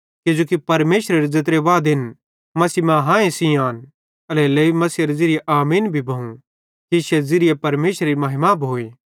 किजोकि परमेशरेरे ज़ेत्रे वादेन मसीह मां हांए सेइं आन एल्हेरेलेइ मसीहेरे ज़िरिये आमीन भी भोइ कि इश्शे ज़िरिये परमेशरेरी महिमा भोए